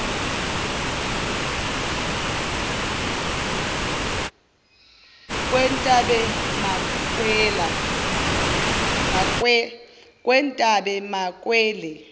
kwetabemakele